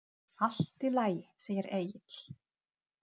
Allt í lagi, segir Egill.